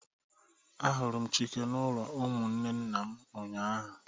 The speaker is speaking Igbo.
A huru Chike n'ulo umunne nna m ụnyahụ